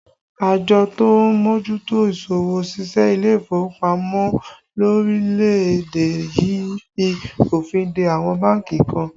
Àjọ tó ń mójútó isọwọ́-ṣiṣẹ́ ilé ìfowópamọ́ lórílẹ̀ èdè yìí fi òfin de àwọn bánkì kan